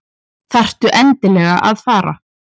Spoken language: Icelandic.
Þarftu endilega að fara?